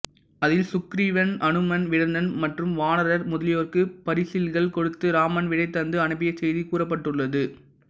அதில் சுக்ரீவன் அனுமன் வீடணன் மற்றும் வானரர் முதலியோர்க்கு பரிசில்கள் கொடுத்து இராமன் விடை தந்து அனுப்பிய செய்தி கூறப்பட்டுள்ளது